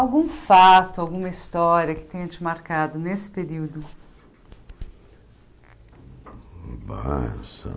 Algum fato, alguma história que tenha te marcado nesse período?